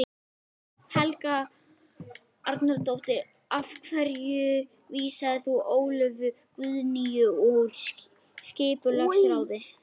Helga Arnardóttir: Af hverju vísaðir þú Ólöfu Guðnýju úr skipulagsráði?